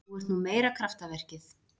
Þú ert nú meira kraftaverkið.